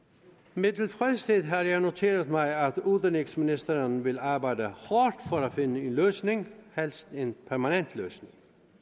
med tilfredshed har jeg noteret mig at udenrigsministeren vil arbejde hårdt for at finde en løsning helst en permanent løsning